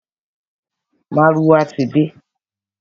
Márúwá ti de.